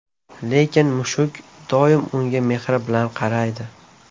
Lekin mushuk doimo unga mehr bilan qaraydi.